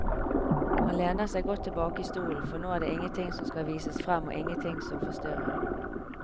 Han lener seg godt tilbake i stolen, for nå er det ingenting som skal vises frem og ingenting som forstyrrer.